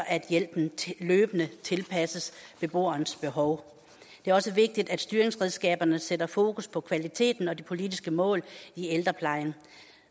at hjælpen løbende tilpasses beboerens behov det er også vigtigt at styringsredskaberne sætter fokus på kvaliteten og de politiske mål i ældreplejen